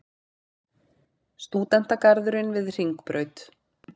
Stúdentagarðurinn við Hringbraut.